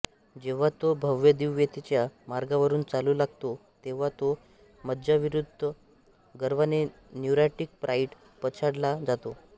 जेव्हा तो भव्यदिव्यतेच्या मार्गावरून चालू लागतो तेव्हा तो मज्जाविकृत गर्वाने न्यूरॉटिक प्राइड पछाडला जातो